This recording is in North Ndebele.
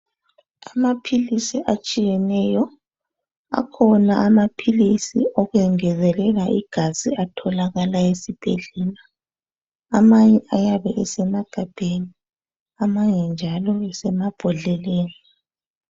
Amaphilisi atshiyeneyo akhona amaphilisi okuyengezelela igazi atholakala esibhedlela amanye ayabe esemagabheni amanye njalo esemabhodleleni.